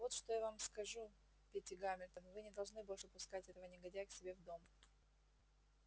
и вот что я вам сказку питти гамильтон вы не должны больше пускать этого негодяя к себе в дом